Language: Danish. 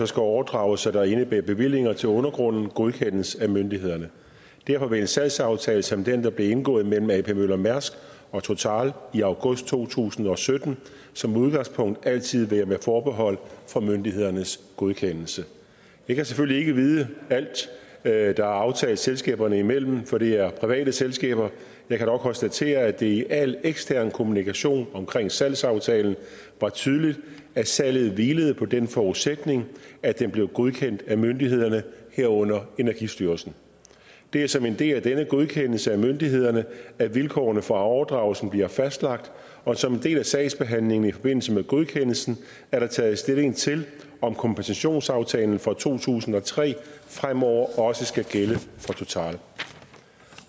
skal overdragelser der indebærer bevillinger til undergrunden godkendes af myndighederne derfor vil en salgsaftale som den der blev indgået mellem ap møller mærsk og total i august to tusind og sytten som udgangspunkt altid være med forbehold for myndighedernes godkendelse jeg kan selvfølgelig ikke vide alt hvad der er aftalt selskaberne imellem for det er private selskaber jeg kan dog konstatere at det i al ekstern kommunikation omkring salgsaftalen var tydeligt at salget hvilede på den forudsætning at den blev godkendt af myndighederne herunder energistyrelsen det er som en del af denne godkendelse af myndighederne at vilkårene for overdragelsen bliver fastlagt og som en del af sagsbehandlingen i forbindelse med godkendelsen er der taget stilling til om kompensationsaftalen fra to tusind og tre fremover også skal gælde